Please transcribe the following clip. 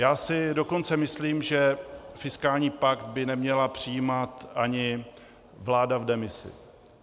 Já si dokonce myslím, že fiskální pakt by neměla přijímat ani vláda v demisi.